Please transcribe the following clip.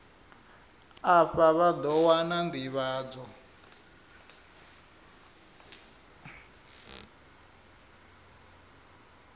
afha vha ḓo wana nḓivhadzo